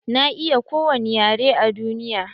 Na iya kowani yare a duniya.